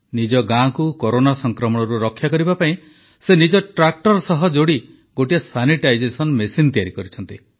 ନିଜ ଗାଁକୁ କରୋନା ସଂକ୍ରମଣରୁ ରକ୍ଷା କରିବା ପାଇଁ ସେ ନିଜ ଟ୍ରାକ୍ଟର ସହ ଯୋଡ଼ି ଗୋଟିଏ ସାନିଟାଇଜେସନ ମେସିନ୍ ତିଆରି କରିଛନ୍ତି